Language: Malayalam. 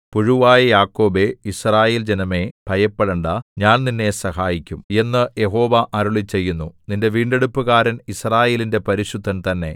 പുഴുവായ യാക്കോബേ യിസ്രായേൽജനമേ ഭയപ്പെടേണ്ടാ ഞാൻ നിന്നെ സഹായിക്കും എന്നു യഹോവ അരുളിച്ചെയ്യുന്നു നിന്റെ വീണ്ടെടുപ്പുകാരൻ യിസ്രായേലിന്റെ പരിശുദ്ധൻ തന്നെ